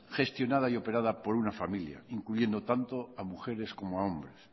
gestionada y operada por una familia incluyendo tanto a mujeres como hombres